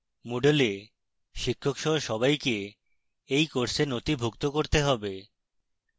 moodle এ শিক্ষক সহ সবাইকে in course নথিভুক্ত করতে হবে